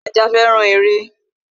Ajá féràn eré